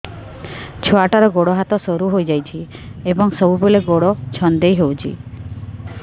ଛୁଆଟାର ଗୋଡ଼ ହାତ ସରୁ ହୋଇଯାଇଛି ଏବଂ ସବୁବେଳେ ଗୋଡ଼ ଛଂଦେଇ ହେଉଛି